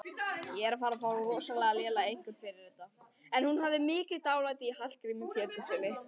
En hún hafði mikið dálæti á Hallgrími Péturssyni.